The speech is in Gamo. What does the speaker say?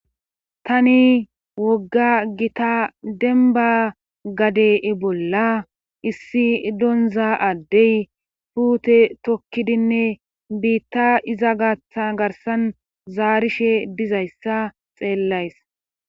Tani wogga gita demba gadee bolla issi donza addey puute tokkidinne biitta iza gatha garsan zaarishe dizayssa xeellays.